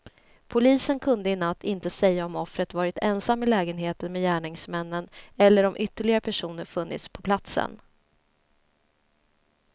Polisen kunde i natt inte säga om offret varit ensam i lägenheten med gärningsmännen eller om ytterligare personer funnits på platsen.